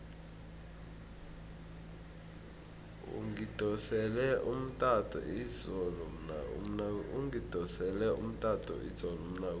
ungidosele umtato izolo umnakwethu